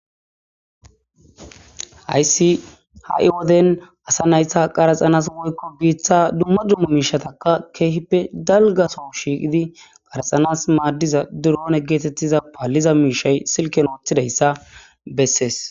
aysi ha7i woden asa naytha qaraxanas woykko biiththa dumma dummo miishatakka keehippe dalgaso shiiqidi qaraxanas maaddiza duroone geetettiza paaliza miishay silken ooththidayssa bessees